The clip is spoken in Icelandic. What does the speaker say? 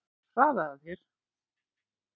Hraðaðu þér!